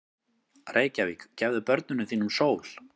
Reykjavík, gefðu börnum þínum sól!